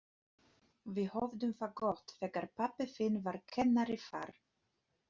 Við höfðum það gott þegar pabbi þinn var kennari þar.